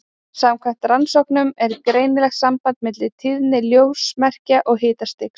Samkvæmt rannsóknum er greinilegt samband milli tíðni ljósmerkja og hitastigs.